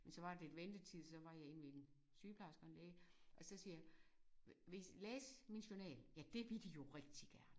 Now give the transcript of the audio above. Men så var der lidt ventetid så var jeg inde ved en sygeplejerske og en læge vil I læse min journal? Ja det ville de jo rigtig gerne